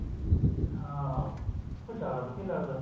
ਹਾਂ ਉਹ ਜਿਆਦਾ ਵਧੀਆ ਲੱਗਦਾ